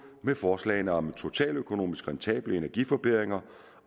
med forslagene om totaløkonomisk rentable energiforbedringer